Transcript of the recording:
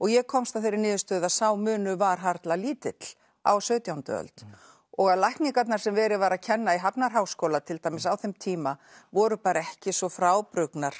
ég komst að þeirri niðurstöðu að sá munur var harla lítill á sautjándu öld og að lækningarnar sem verið var að kenna í Hafnarháskóla til dæmis á þeim tíma voru bara ekki svo frábrugðnar